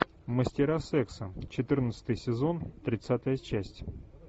мастера секса четырнадцатый сезон тридцатая часть